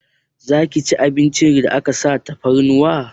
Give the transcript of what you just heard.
Zaki ci abincin da aka sa tafarnuwa?